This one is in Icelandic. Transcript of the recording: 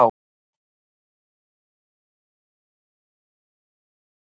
Annað hvort kemur þú lyddan þín eða lætur það ógert.